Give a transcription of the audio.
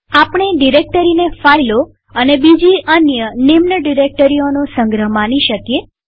આપણે ડિરેક્ટરીને ફાઈલો અને બીજી અન્ય નિમ્નસબડિરેક્ટરીઓનો સંગ્રહ માની શકીએ